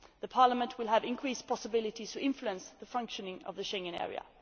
Parliament will have increased possibilities to influence the functioning of the Schengen area.